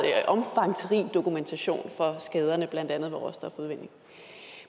omfangsrig dokumentation for skaderne ved blandt andet råstofudvinding